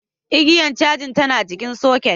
Igiyar yawon tAna jikin soket